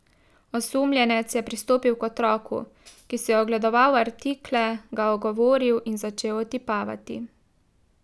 Osumljenec je pristopil k otroku, ki si je ogledoval artikle, ga ogovoril in začel otipavati.